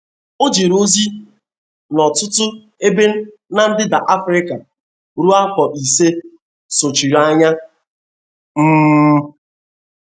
O jere ozi n’ọtụtụ ebe ná ndịda Afrika ruo afọ ise sochiri anya. um